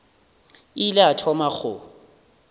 a ile a thoma go